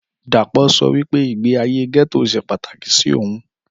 Dàpọ̀ sọ wípé ìgbé ayé gẹ́tò ṣe pàtàkì sí ohun